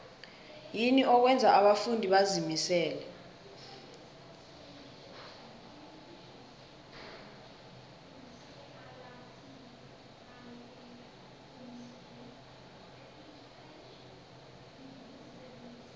yini okwenza abafundi bazimisele